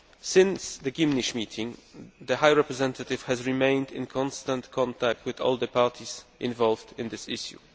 Since the Gymnich meeting, the High Representative has remained in constant contact with all the parties involved in this issue.